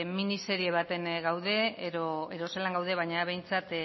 miniserie baten gaude edo zelan gauden baina behintzat